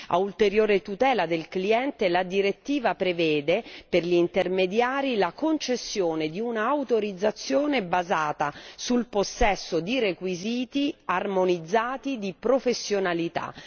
A ulteriore tutela del cliente, la direttiva prevede per gli intermediari la concessione di un'autorizzazione basata sul possesso di requisiti armonizzati di professionalità.